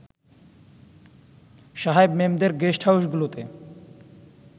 সাহেব-মেমদের গেস্টহাউসগুলোতে